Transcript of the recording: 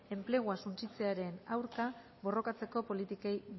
enplegua suntsitzearen aurka borrokatzeko politikei